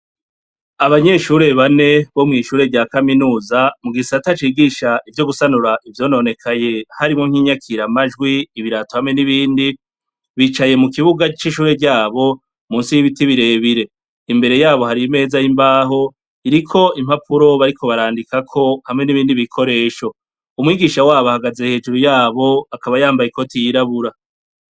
Abanyeshure bane bo mw'ishure rya kaminuza mu gisata cigisha ivyo gusanura ivyononekaye, harimwo nk'inyakiramajwi, ibirato hamwe n'ibindi, bicaye mu kibuga c'ishure ryabo musi y'ibiti birebire. Imbere yabo hari imeza y'imbaho, iriko impapuro bariko barandikako hamwe n'ibindi bikoresho. Umwigisha wabo ahagaze hejuru yabo akaba yambaye ikoti yirabura.